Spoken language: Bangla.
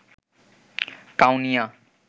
কাউনিয়া